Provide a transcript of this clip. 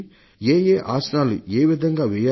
ఏ ఏ ఆసనాలు ఏ విధంగా చేయాలి